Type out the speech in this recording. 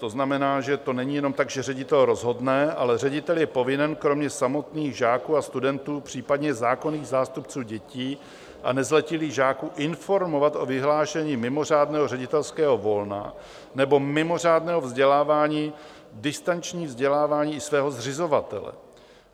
To znamená, že to není jenom tak, že ředitel rozhodne, ale ředitel je povinen kromě samotných žáků a studentů, případně zákonných zástupců dětí a nezletilých žáků, informovat o vyhlášení mimořádného ředitelského volna nebo mimořádného vzdělávání, distančního vzdělávání, i svého zřizovatele.